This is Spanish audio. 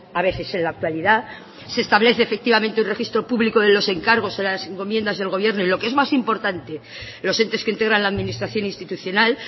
a veces en la actualidad se establece efectivamente un registro público de los encargos en las encomiendas del gobierno y lo que es más importante los entes que integran la administración institucional